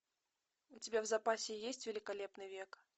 у тебя в запасе есть великолепный век